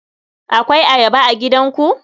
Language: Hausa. Akwai Ayaba a gidanku?